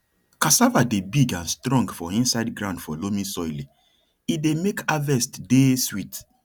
cassava dey big and strong for inside ground for loamy soile dey make harvest dey sweet